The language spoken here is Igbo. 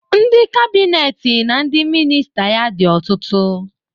Ndị kabinet na ndị minista ya dị ọtụtụ